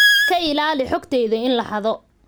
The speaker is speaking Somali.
Ka ilaali xogtayada in la xado.